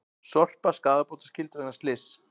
Sorpa skaðabótaskyld vegna slyss